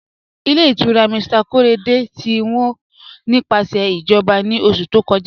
Ilẹ̀ ìtura Mr Korede ti wọ́ nípasẹ̀ ijọba ni oṣù tó kọ́jà